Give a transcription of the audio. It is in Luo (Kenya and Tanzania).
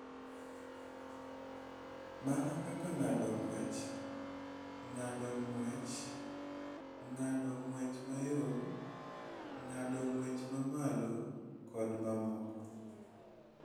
Mana kaka ng�ado ng�wech, ng�ado ng�wech, ng�ado ng�wech mayom, ng�ado ng�wech ma malo, kod mamoko.